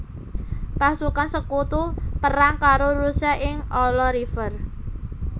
Pasukan Sekutu perang karo Rusia ing Ala River